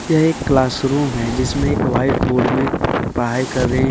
यह एक क्लासरूम है जिसमें एक वाइट बोर्ड में पढ़ाई कर रहे --